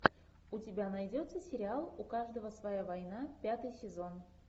у тебя найдется сериал у каждого своя война пятый сезон